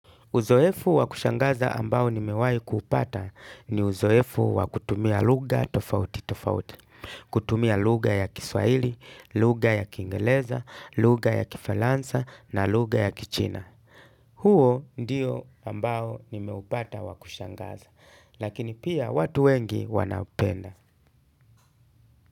Uzoefu wa kushangaza ambao nimewahi kuupata ni uzoefu wa kutumia lugha tofauti tofauti. Kutumia lugha ya kiswaili, lugha ya kingereza, lugha ya kifaransa na lugha ya kichina. Huo ndiyo ambao nimeupata wa kushangaza. Lakini pia watu wengi wanaupenda.